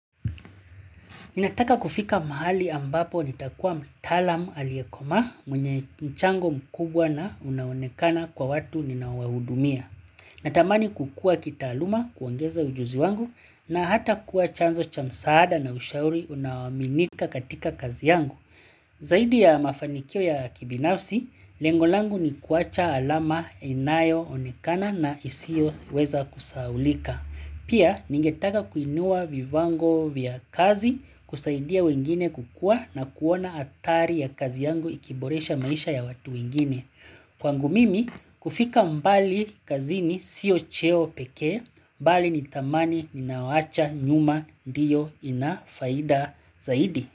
Ninataka kufika mahali ambapo nitakuwa mtaalam aliyekoma mwenye mchango mkubwa na unaonekana kwa watu ninawahudumia. Natamani kukua kita aluma kuongeza ujuzi wangu na hata kuwa chanzo cha msaada na ushauri unawaminika katika kazi yangu. Zaidi ya mafanikio ya kibinafsi, lengolangu ni kuacha alama inayo onekana na isio weza kusahulika. Pia ningetaka kuinua vivango vya kazi kusaidia wengine kukua na kuona atari ya kazi yangu ikiboresha maisha ya watu wengine. Kwangu mimi kufika mbali kazi ni siyo cheo peke mbali ni thamani ni nioawacha nyuma ndio inafaida zaidi.